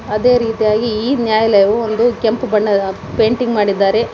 ಅದೆ ರೀತಿಯಾಗಿ ಈ ನ್ಯಾಯಾಲಯವು ಕೆಂಪು ಬಣ್ಣದ ಪೇಂಟಿಂಗ್ ಮಾಡಿದಾರೆ.